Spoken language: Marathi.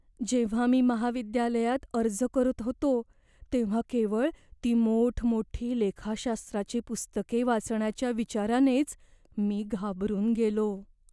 जेव्हा मी महाविद्यालयात अर्ज करत होतो, तेव्हा केवळ ती मोठमोठी लेखाशास्त्राची पुस्तके वाचण्याच्या विचारानेच मी घाबरून गेलो.